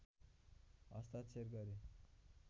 हस्ताक्षर गरे